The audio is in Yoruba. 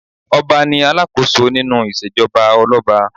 Ọba ní alákòóso nínú ìṣèjọba olọ́ba.